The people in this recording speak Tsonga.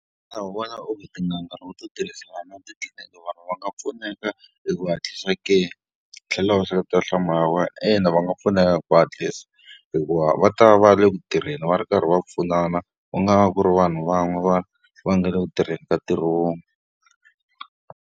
Xana u vona onge tin'anga loko to tirhisana na titliliniki vanhu va nga pfuneka hi ku hatlisa ke? Tlhela u seketela nhlamulo ya wena. Ina va nga pfuneka hi ku hatlisa, hikuva va ta va ri eku tirheni va ri karhi va pfunana, u nga va ku ri vanhu van'we va va nga le ku tirheni ka ntirho wun'we.